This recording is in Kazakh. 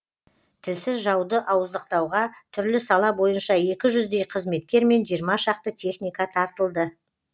тілсіз жауды ауыздықтауға түрлі сала бойынша екі жүздей қызметкер мен жиырма шақты техника тартылды